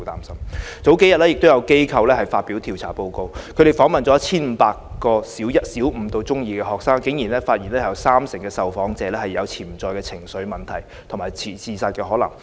數天前，有機構發表調查報告，他們訪問了 1,500 個小五至中二學生，竟然發現有約三成受訪者有潛在情緒問題和自殺可能。